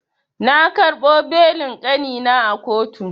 Na karɓo belin kanina a kotu.